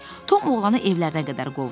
Tom oğlanı evlərindən qovdu.